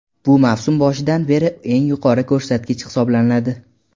Bu mavsum boshidan beri eng yuqori ko‘rsatkich hisoblanadi.